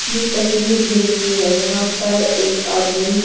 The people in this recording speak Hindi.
ये तस्वीर जिम की है यहाँ पर एक आदमी--